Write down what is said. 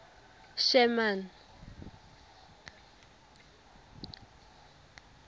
sherman